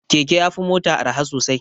Keke ya fi mota arha sosai.